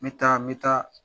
Me taa me taa.